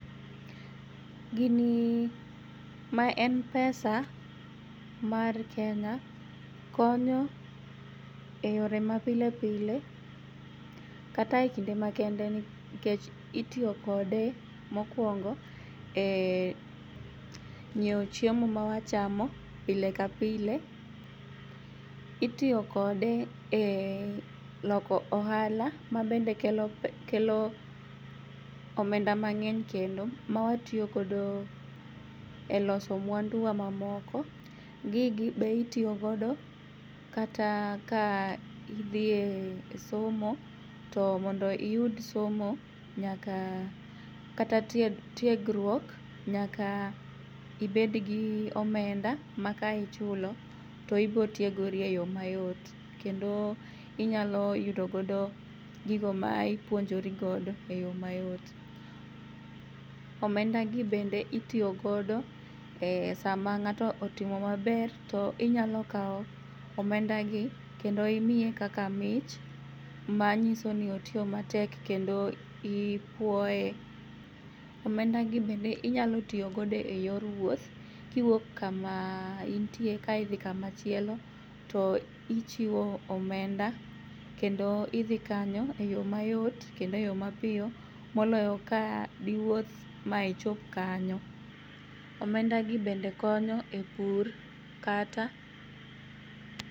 Gini ma en pesa mar Kenya konyo e yore mapilepile kata e kinde makende nikech itiyo kode mokuongo e nyieo chiemo mwachamo pile ka pile. Itiyo kode e loko ohala mabende kelo pe, omenda mang'eny kendo mawatiyo godo e loso muanduwa mamoko. Gigi be itiyogodo kata ka idhie somo to mondo iyud somo nyaka kata tiegruok nyaka ibedgi omenda ma kaichulo to ibotiegori eyo mayot kendo inyaloyudo godo gigo ma ipuonjori godo e yoo mayot. Omenda gi bende itiyogodo e sama ng'ato otimo maber to inyalokao omendagi kendo imiye kaka mich manyisoni otiyo matek kendo ipuoe. Omendagi bende inyalotiyo godo e yor wuoth kiwuok kama intie kaodhi kama chielo toichiwo omenda kendo idhi kanyo e yoo mayot kendo e yoo mapiyo moloyo ka diwuoth ma ichop kanyo. Omendagi bendekonyo e pur kata